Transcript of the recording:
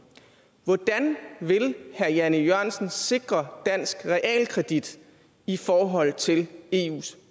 hvordan vil herre jan e jørgensen sikre dansk realkredit i forhold til eus